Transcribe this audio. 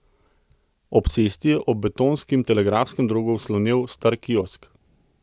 Ob cesti je ob betonskem telegrafskem drogu slonel star kiosk.